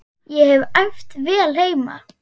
Ég hef æft vel heima.